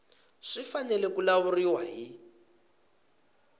swi fanele ku lawuriwa hi